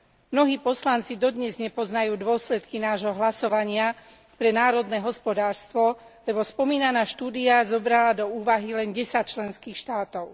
Mnohí poslanci dodnes nepoznajú dôsledky nášho hlasovania pre národné hospodárstvo, lebo spomínaná štúdia zobrala do úvahy len 10 členských štátov.